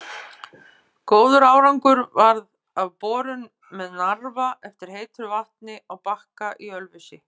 Góður árangur varð af borun með Narfa eftir heitu vatni á Bakka í Ölfusi.